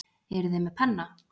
Eruð þið með penna?